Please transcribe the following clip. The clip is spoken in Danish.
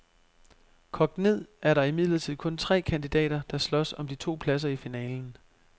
Kogt ned er der imidlertid kun tre kandidater, der slås om de to pladser i finalen.